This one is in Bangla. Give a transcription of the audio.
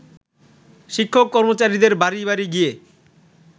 শিক্ষক-কর্মচারীদের বাড়ি বাড়ি গিয়ে